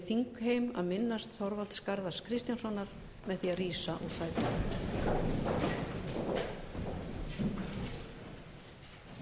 þingheim að minnast þorvalds garðars kristjánssonar með því að rísa úr sætum